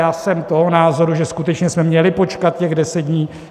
Já jsem toho názoru, že skutečně jsme měli počkat těch deset dní.